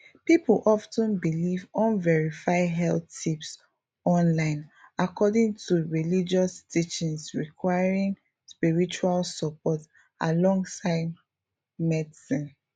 people of ten believe unverified health tips online according to religious teachings requiring spiritual support alongside medicine